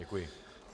Děkuji.